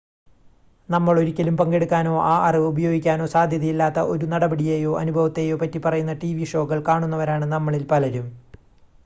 നമ്മൾ ഒരിക്കലും പങ്കെടുക്കാനോ ആ അറിവ് ഉപയോഗിക്കാനോ സാധ്യതയില്ലാത്ത ഒരു നടപടിയെയോ അനുഭവത്തെയോ പറ്റി പറയുന്ന ടിവി ഷോകൾ കാണുന്നവരാണ് നമ്മളിൽ പലരും